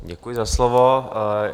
Děkuji za slovo.